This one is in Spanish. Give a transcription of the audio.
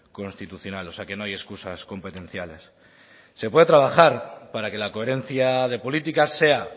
constitucional o sea que no hay excusas competenciales se puede trabajar para que la coherencia de políticas sea